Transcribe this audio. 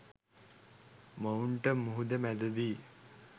මොවුන්ට මුහුද මැද දී